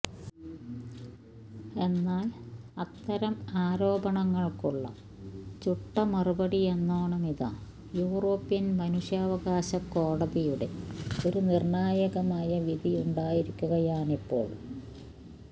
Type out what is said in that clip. എന്നാൽ അത്തരം ആരോപണങ്ങൾക്കുള്ള ചുട്ട മറുപടിയെന്നോണമിതാ യൂറോപ്യൻ മനുഷ്യാവകാശ കോടതിയുടെ ഒരു നിർണായകമായ വിധിയുണ്ടായിരിക്കുകയാണിപ്പോൾ